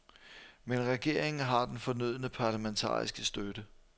Men regeringen har den fornødne parlamentariske støtte.